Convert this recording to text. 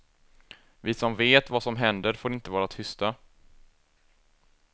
Vi som vet vad som händer får inte vara tysta.